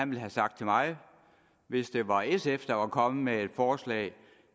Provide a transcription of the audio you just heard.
ville have sagt til mig hvis det var sf der var kommet med et forslag